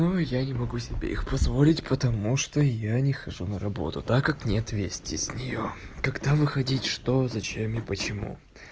я не могу себе их позволить потому что я не хожу на работу так как нет вести с неё когда выходить что зачем и почему